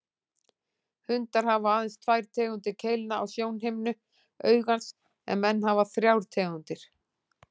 Hundar hafa aðeins tvær tegundir keilna á sjónhimnu augans en menn hafa þrjár tegundir.